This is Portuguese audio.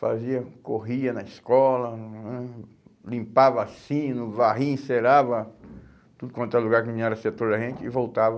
Fazia, corria na escola, hum, limpava sino, varria, encerava tudo quanto era lugar que não era setor da gente e voltava.